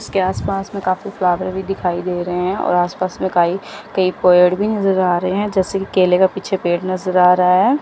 इसके आसपास मे काफी फ्लावर भी दिखाई दे रहे हैं और आसपास काई कई पेड़ भी नज़र आ रहे हैं जैसे की केले का पेड़ पीछे नज़र आ रहा है।